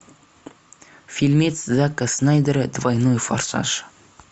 фильмец зака снайдера двойной форсаж